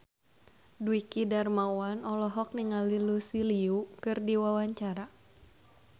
Dwiki Darmawan olohok ningali Lucy Liu keur diwawancara